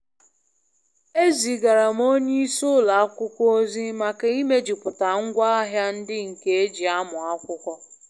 Ezigara m onye isi ụlọ akwụkwọ ozi maka imejuputa ngwa ahia ndi nke e ji amu akwụkwọ.